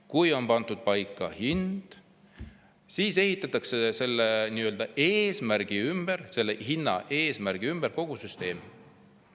Kui hind on paika pandud, siis ehitatakse selle hinna eesmärgi ümber kogu süsteem.